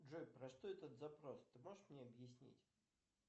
джой про что этот запрос ты можешь мне объяснить